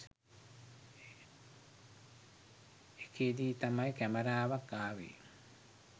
එකේදී තමයි කැමරාවක් ආවේ.